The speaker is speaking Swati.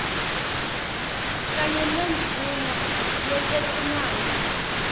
kanye nendvuna yetetimali